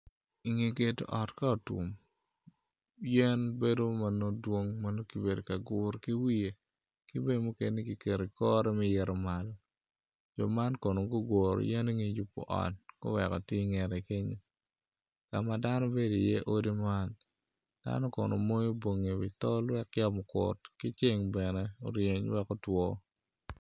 Inge gedo ot ka otum yen bedo ma nongo dwong ma nongo ki bedo ka guru ki wiye ki bene mukene ki keto ikore me ito malo mo man kono guguro yen me yubo ot guweko tye ingete kenyo kama dano bedo i iye odi man dano kono moyo bongi i wi tol wek camo okut ceng bene oryeny wek otwo